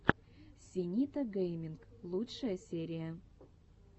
синита гэйминг лучшая серия